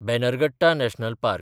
Bannerghatta national park